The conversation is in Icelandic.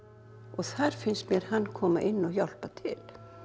þar finnst mér hann koma inn og hjálpa til